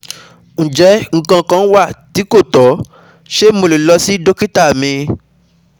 Njẹ nkan kan wa ti ko tọ? Ṣe Mo le lọ si dokita mi?